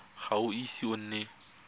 ga o ise o nne